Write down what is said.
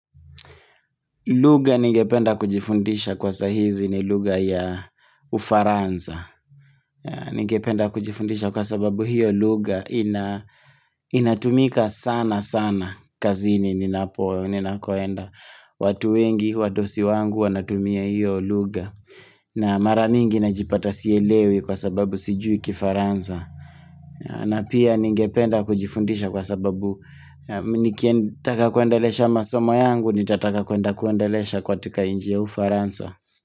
Lugha ningependa kujifundisha kwa saa hizi ni lugha ya ufaransa. Ningependa kujifundisha kwa sababu hiyo lugha inatumika sana sana kazini ninapo. Ninakoenda, watu wengi, wadosi wangu wanatumia hiyo lugha. Na mara mingi najipata sielewi kwa sababu sijui kifaransa. Na pia ningependa kujifundisha kwa sababu Nikitaka kuendelesha masomo yangu nitataka kuenda kuendelesha katika nchi ya ufaransa.